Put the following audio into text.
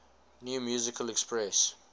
new musical express